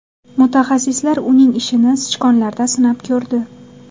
Mutaxassislar uning ishini sichqonlarda sinab ko‘rdi.